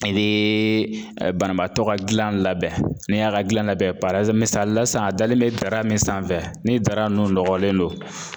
I bee banabaatɔ ka gilan labɛn, n'i y'a ka gilan labɛn parazi misali la san a dalen bɛ dara min sanfɛ ni dara nnu nɔgɔlen don